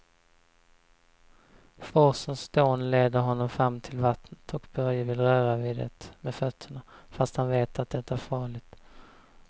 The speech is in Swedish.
Forsens dån leder honom fram till vattnet och Börje vill röra vid det med fötterna, fast han vet att det är farligt.